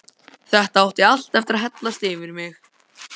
Þetta átti allt eftir að hellast yfir mig.